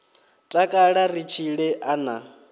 takala ri tshile a na